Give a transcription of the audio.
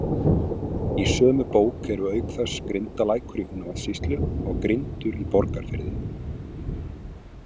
Í sömu bók eru auk þess Grindalækur í Húnavatnssýslu og Grindur í Borgarfirði.